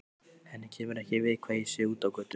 Henni kemur ekki við hvað ég sé úti á götu.